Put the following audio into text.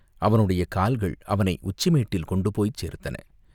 அவனுடைய கால்கள் அவனை உச்சிமேட்டில் கொண்டு போய்ச் சேர்த்தன.